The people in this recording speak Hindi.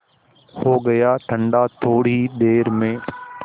हो गया ठंडा थोडी ही देर में